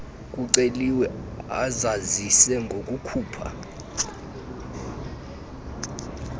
kuceliwe azazise ngokukhupha